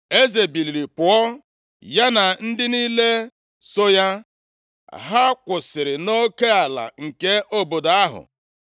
Eze biliri pụọ, ya na ndị niile so ya, ha kwụsịrị nʼoke ala nke obodo ahụ.